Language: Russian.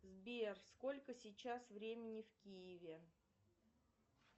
сбер сколько сейчас времени в киеве